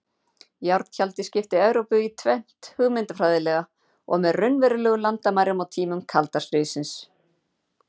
Járntjaldið skipti Evrópu í tvennt hugmyndafræðilega og með raunverulegum landamærum á tímum kalda stríðsins.